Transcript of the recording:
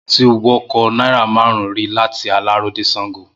Mo ti wọkọ̀ náírà márùn-ún rí láti Aláró dé Sáńgo.